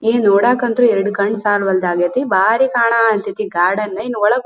ಏನ್ ನೋಡಕ್ಕೆ ಅಂತೂ ಎರಡು ಕಣ್ಣು ಸಾಲ್ವಲ್ದು ಆಗೈತೆ ಬಾರಿ ಕಾಣಹತ್ತೈತಿ ಗಾರ್ಡನ್ ಇನ್ನ ಒಳಗ್--